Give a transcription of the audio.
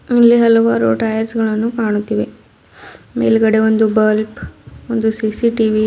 ಇಲ್ಲಿ ಹಲವಾರು ಟೈರ್ಸ್ ಗಳನ್ನು ಕಾಣುತ್ತಿವೆ ಮೇಲ್ಗಡೆ ಒಂದು ಬಲ್ಪ್ ಒಂದು ಸಿ_ಸಿ_ಟಿ_ವಿ --